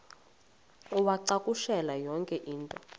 uwacakushele yonke into